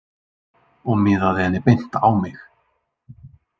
Og miðaði henni beint á mig.